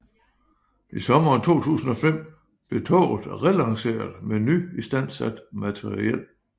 I sommeren 2005 blev toget relanceret med nyistandsat materiel